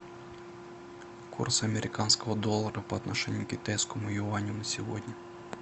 курс американского доллара по отношению к китайскому юаню на сегодня